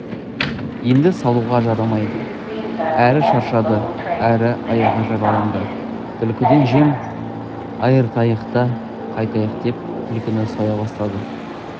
енді салуға жарамайды әрі шаршады әрі аяғы жараланды түлкіден жем айыртайық та қайтайық деп түлкіні соя бастайды